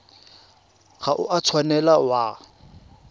ga o a tshwanela wa